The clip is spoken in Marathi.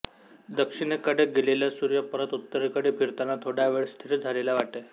दक्षिणेकडे गेलेला सूर्य परत उत्तरेकडे फिरताना थोडा वेळ स्थिर झालेला वाटे